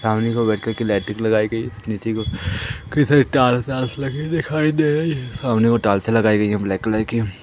सामने को बैटरी की लाइटिंग लगाई गई है नीचे की ओर कई सारी टाइल्सा वाइल्स लगी दिखाई दे रहे है सामने को टाइल्सें लगाई गई हैं ब्लैक कलर की।